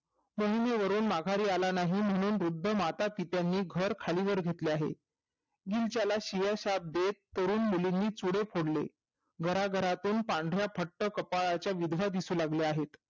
जमिनीवरून माघार आला नाही म्हणून वृद्ध माता पितानी घर खाली वर घेतले आहे शिव्या शाप देत तरुण मुलींनी चुडे फोडले घराघरा मधून पांढऱ्या फट कपाळाच्या विधवा दिसू लागल्या आहेत